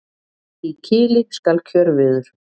Í kili skal kjörviður.